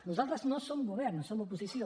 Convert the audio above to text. nosaltres no som govern som oposició